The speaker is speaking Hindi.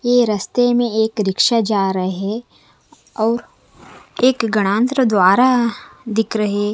यह रास्ते में एक रिक्शा जा रहे हैं और एक गणांतर द्वारा दिख रहे।